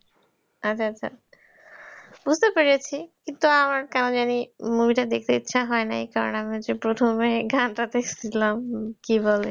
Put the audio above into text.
আচ্ছা আচ্ছা বুঝতে পেরেছি কিন্তু আমার কেন জানি movie টা দেখতে ইচ্ছা হয় নাই কারন আমরা যে প্রথমেই গানটাতে শুনলাম কিবলে